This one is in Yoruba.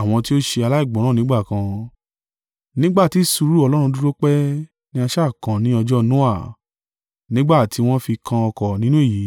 àwọn tí ó ṣe aláìgbọ́ràn nígbà kan, nígbà tí sùúrù Ọlọ́run dúró pẹ́ ní sá à kan ní ọjọ́ Noa, nígbà tí wọ́n fi kan ọkọ̀ nínú èyí